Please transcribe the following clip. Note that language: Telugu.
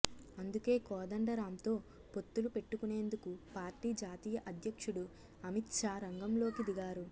అందుకే కోదండరాంతో పొత్తులు పెట్టుకునేందుకు పార్టీ జాతీయ అధ్యక్షుడు అమిత్ షా రంగంలోకి దిగారు